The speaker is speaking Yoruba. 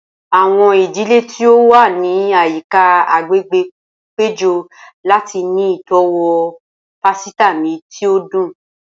Awọn idile ti o wa ni ayika agbegbe pejọ lati ni itọwo pasita mi ti o dun.